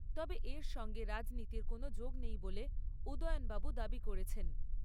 তবে এর সঙ্গে রাজনীতির কোনো যোগ নেই বলে উদয়নবাবু দাবি করেছেন।